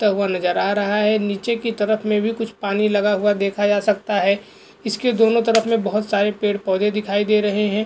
हुआ नजर आ रहा है नीचे की तरफ में भी कुछ पानी लगा हुआ देखा जा सकता है इसके दोनों तरफ में बहुत सारे पेड़-पौधे दिखाई दे रहे हैं।